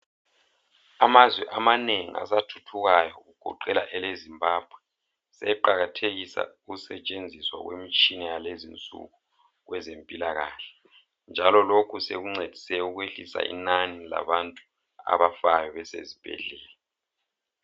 Amazwe amanengi asathuthukayo kugoqela eleZimbabwe sebeqakathekisa ukusetshenziswa kwemitshina yalezinsuku kwezempilakahle njalo lokhu sekuncedise ukwehlisa inani labantu abafayo besezibhedlela.